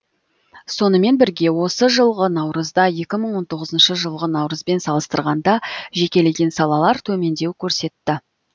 сонымен бірге осы жылғы наурызда екі мың он тоғызыншы жылғы наурызбен салыстырғанда жекелеген салалар төмендеу көрсетті